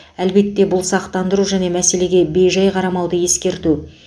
әлбетте бұл сақтандыру және мәселеге бейжай қарамауды ескерту